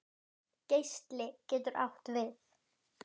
ÞAÐ FAUK!